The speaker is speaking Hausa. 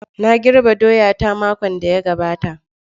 Na girbe doya ta, makon da ya gabata.